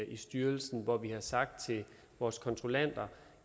i styrelsen hvor vi har sagt til vores kontrollanter